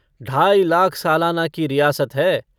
ढाई लाख सालाना की रियासत है।